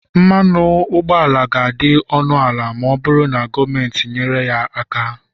mmanụ ụgbọala ga-adị ọnụ ala ma ọ bụrụ na gọọmenti nyere ya aka